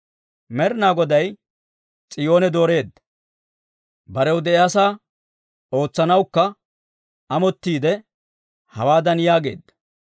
Med'inaa Goday S'iyoone dooreedda; barew de'iyaasaa ootsanawukka amottiide, hawaadan yaageedda;